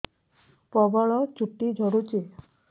ପ୍ରବଳ ଚୁଟି ଝଡୁଛି